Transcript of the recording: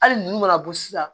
Hali ninnu mana bɔ sisan